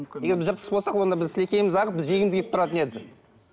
егер біз жыртқыш болсақ онда біз сілекейіміз ағып біз жегіміз келіп тұратын еді